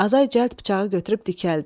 Azay cəld bıçağı götürüb dikəldi.